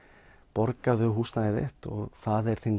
borgaðu húsnæðið þitt og það er þinn